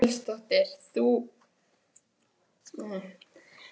Þórhildur Þorkelsdóttir: Það er fólk sem er greint með drómasýki?